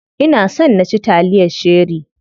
Ina son na ci taliyar cherie.